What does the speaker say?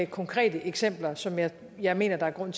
konkrete eksempler som jeg jeg mener der er grund